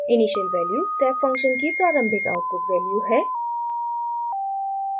initial value step function की प्रारंभिक output value है